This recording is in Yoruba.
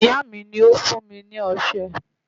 Ìyá mi ni ó fún mi ní ọṣẹ.